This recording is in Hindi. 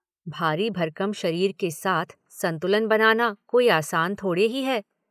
भारी भरकम शरीर के साथ संतुलन बनाना कोई आसान थोड़े ही है।